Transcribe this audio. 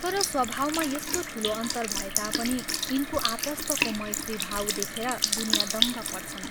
तर स्वभावमा यस्तो ठूलो अन्तर भए तापनि यिनको आपस्तको मैत्री भाव देखेर दुनियाँ दङ्ग पर्छन्।